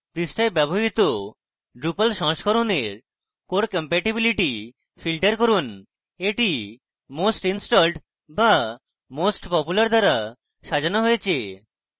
পৃষ্ঠায় ব্যবহৃত drupal সংস্করনের core compatibility filter core এটি most installed বা most popular দ্বারা সাজানো হয়েছে